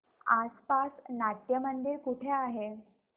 आसपास नाट्यमंदिर कुठे आहे